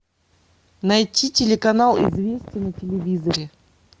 найти телеканал известия на телевизоре